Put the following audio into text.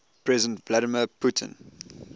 president vladimir putin